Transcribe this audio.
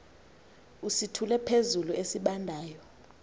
usithule phezulu esibandayo